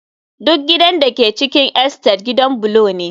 the entire house in Unity estate is a brick house